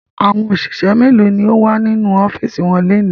Àwọn òṣìṣẹ́ mélòó ni wọ́n wà nínú ọ́fíísì wọn lónìí?